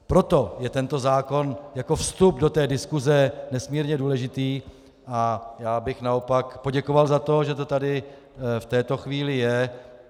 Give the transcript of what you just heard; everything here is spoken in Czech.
Proto je tento zákon jako vstup do té diskuse nesmírně důležitý, a já bych naopak poděkoval za to, že to tady v této chvíli je.